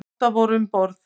Átta voru um borð.